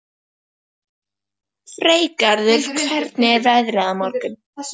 Freygarður, hvernig er veðrið á morgun?